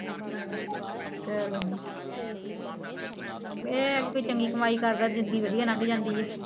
ਏ ਏਵੈ ਕੁ ਚੰਗੀ ਕਮਾਈ ਕਰਦਾ ਜਿੰਦਗੀ ਵਦੀਆ ਲਾੰਗ ਜਾਂਦੀ ਆ